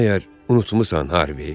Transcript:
Məgər unutmusan, Harvi?